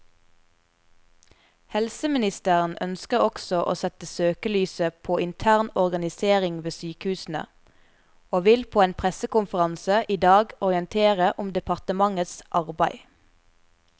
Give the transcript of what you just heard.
Helseministeren ønsker også å sette søkelyset på intern organisering ved sykehusene, og vil på en pressekonferanse i dag orientere om departementets arbeid.